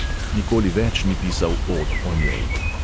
Nikoli več ni pisal od o njej.